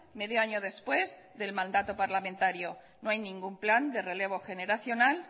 medio año después del mandato parlamentario no hay ningún plan de relevo generacional